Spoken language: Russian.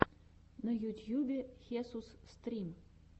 на ютьюбе хесус стрим